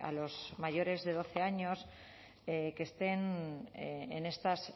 a los mayores de doce años que estén en estas